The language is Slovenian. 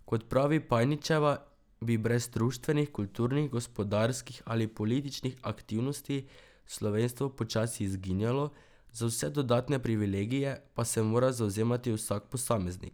Kot pravi Pajničeva, bi brez društvenih, kulturnih, gospodarskih ali političnih aktivnosti slovenstvo počasi izginjalo, za vse dodatne privilegije pa se mora zavzemati vsak posameznik.